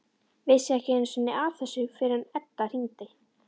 Vissi ekki einu sinni af þessu fyrr en Edda hringdi.